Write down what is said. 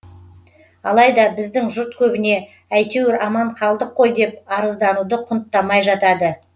алайда біздің жұрт көбіне әйтеуір аман қалдық қой деп арыздануды құнттамай жатады